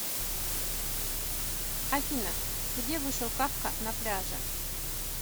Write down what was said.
афина где вышел кафка на пляже